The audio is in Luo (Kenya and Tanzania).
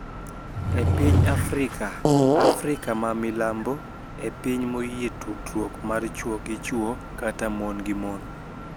E piny Afrika, Afrika ma milambo e piny moyie tudruok mar chwo gi chwo kata mon gi mon